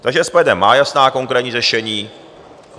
Takže SPD má jasná, konkrétní řešení.